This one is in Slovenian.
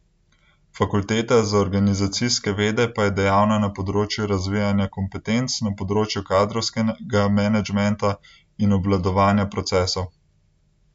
Fakulteta za organizacijske vede pa je dejavna na področju razvijanja kompetenc na področju kadrovskega managementa in obvladovanja procesov.